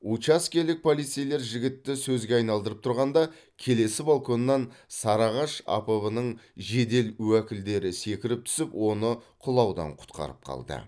учаскелік полицейлер жігітті сөзге айналдырып тұрғанда келесі балконнан сарыағаш апб нің жедел уәкілдері секіріп түсіп оны құлаудан құтқарып қалды